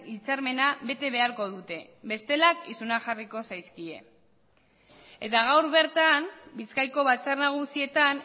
hitzarmena bete beharko dute bestela isunak jarriko zaizkie eta gaur bertan bizkaiko batzar nagusietan